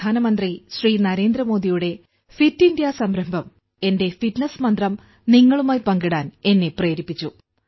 പ്രധാനമന്ത്രി ശ്രീ നരേന്ദ്ര മോദിയുടെ Fit India സംരംഭം എന്റെ ഫിറ്റ്നസ് മന്ത്രം നിങ്ങളുമായി പങ്കിടാൻ എന്നെ പ്രേരിപ്പിച്ചു